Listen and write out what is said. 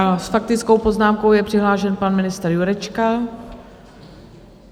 A s faktickou poznámkou je přihlášen pan ministr Jurečka.